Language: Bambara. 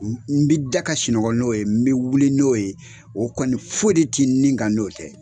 N n bi da ka sunɔgɔ n'o ye n be wuli n'o ye o kɔni foyi de te n nin kan n'o tɛ